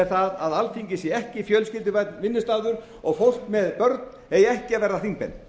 það að alþingi sé ekki fjölskylduvænn vinnustaður og fólk með börn eigi ekki að vera þingmenn